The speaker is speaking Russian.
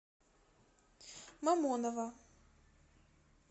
мамоново